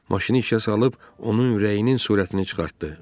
Maşını işə salıb onun ürəyinin surətini çıxartdı.